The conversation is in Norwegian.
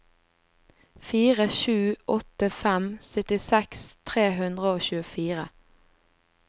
fire sju åtte fem syttiseks tre hundre og tjuefire